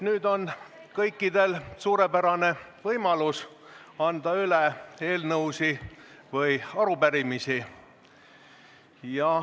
Nüüd on kõikidel suurepärane võimalus anda üle eelnõusid või arupärimisi.